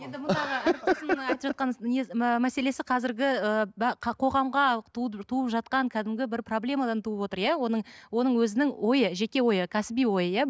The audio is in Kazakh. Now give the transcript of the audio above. айтып жатқан не ы мәселесі қазірі ііі қоғамға туып жатқан кәдімгі бір проблемадан туып отыр иә оның оның өзінің ойы жеке ойы кәсіби ойы иә